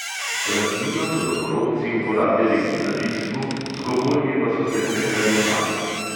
Rastlino so domorodci uporabljali v zdravilstvu, z gomolji pa so se prehranjevali.